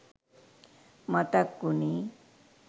මතක් උනේ.